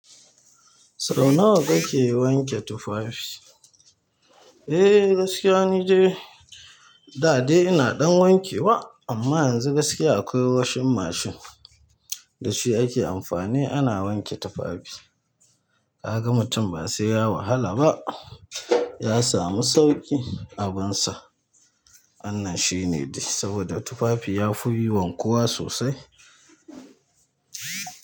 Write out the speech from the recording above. Sau nawa kake wanke tufafi? Eh gaskiya ni dai da dai ina ɗan wanke wa amma yanzu gaskiya akwai washing machine da shi ake amfani ana wanke tufafi. Kaga mutum ba sai ya wahala ba ya samu sauƙi abin sa. Wannan shine dai saboda tufafi ya fi wankuwa sosai.